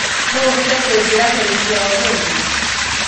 no ũhote kunjĩĩra tarĩkĩ ya ũmũthĩ